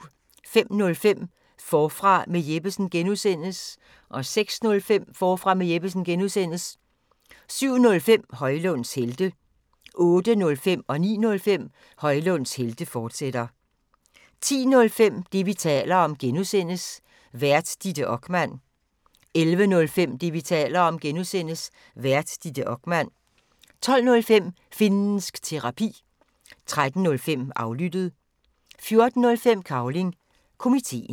05:05: Forfra med Jeppesen (G) 06:05: Forfra med Jeppesen (G) 07:05: Højlunds Helte 08:05: Højlunds Helte, fortsat 09:05: Højlunds Helte, fortsat 10:05: Det, vi taler om (G) Vært: Ditte Okman 11:05: Det, vi taler om (G) Vært: Ditte Okman 12:05: Finnsk Terapi 13:05: Aflyttet 14:05: Cavling Komiteen